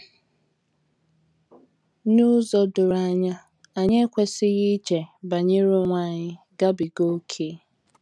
N’ụzọ doro anya, anyị ekwesịghị iche banyere onwe anyị gabiga ókè.